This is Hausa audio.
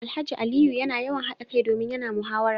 Alhaji Aliyu yana yawan hada kai domin yana muhawara